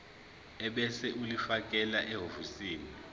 ebese ulifakela ehhovisi